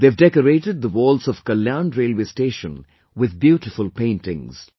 They have decorated the walls of Kalyan railway station with beautiful paintings